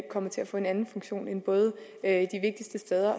kommer til at få en anden funktion end at